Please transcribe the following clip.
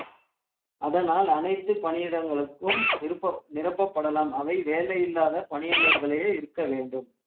அதனால் அனைத்து பணியிடங்களுக்கும் நிருபப்~ நிரப்பப்படலாம் அவை வேலை இல்லாத பணியாளர்களே இருக்க வேண்டும்